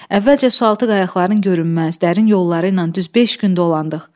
Əvvəlcə sualtı qayaqların görünməz dərin yolları ilə düz beş gün dolandıq.